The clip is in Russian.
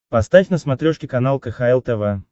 поставь на смотрешке канал кхл тв